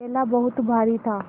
थैला बहुत भारी था